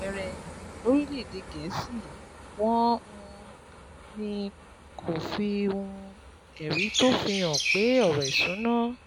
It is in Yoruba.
Bí àpẹẹrẹ, lórílẹ̀-èdè Gẹ̀ẹ́sì, wọ́n um ní kó o fi um ẹ̀rí tó fi hàn pé ọ̀rọ̀ ìṣúnná